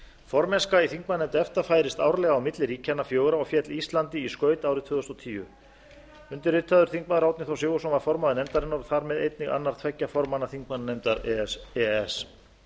formennska í þingmannanefnd efta færist árlega á milli ríkjanna fjögurra og féll íslandi í skaut á árinu tvö þúsund og tíu undirritaður þingmaður árni þór sigurðsson var formaður nefndarinnar og þar með einnig annar tveggja formanna þingmannanefndar e e s